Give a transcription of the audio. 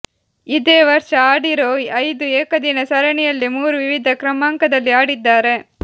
ಇದೇ ವರ್ಷ ಆಡಿರೋ ಐದು ಏಕದಿನ ಸರಣಿಯಲ್ಲೇ ಮೂರು ವಿವಿಧ ಕ್ರಮಾಂಕದಲ್ಲಿ ಆಡಿದ್ದಾರೆ